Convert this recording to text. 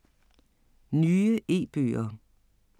Nye e-bøger